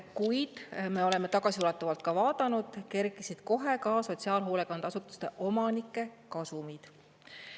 Kuid me oleme tagasiulatuvalt vaadanud, kerkisid kohe ka sotsiaalhoolekandeasutuste omanike kasumid.